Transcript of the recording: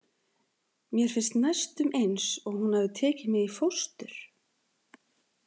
Mér finnst næstum eins og hún hafi tekið mig í fóstur.